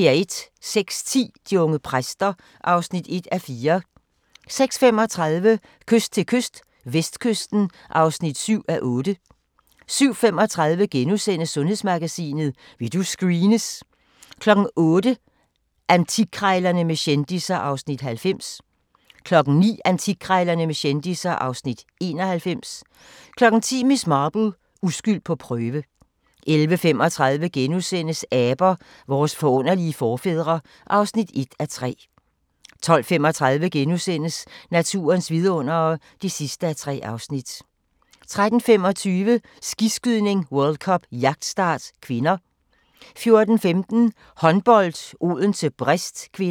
06:10: De unge præster (1:4) 06:35: Kyst til kyst - vestkysten (7:8) 07:35: Sundhedsmagasinet: Vil du screenes? * 08:00: Antikkrejlerne med kendisser (Afs. 90) 09:00: Antikkrejlerne med kendisser (Afs. 91) 10:00: Miss Marple: Uskyld på prøve 11:35: Aber – vores forunderlige forfædre (1:3)* 12:35: Naturens vidundere (3:3)* 13:25: Skiskydning: World Cup - jagtstart (k) 14:15: Håndbold: Odense-Brest (k)